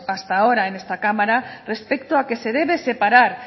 hasta ahora en esta cámara respecto a que se debe separar